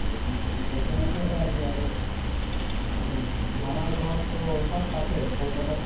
তো চিনাকী এটা আছে আৰু। মোৰো। মোৰ মামাৰ ঘৰতো সব তাতে, কলকাতাতে।